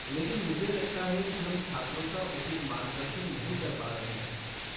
लेकिन मुझे लगता है कि हम छात्रों का उचित मार्गदर्शन नहीं कर पा रहे हैं।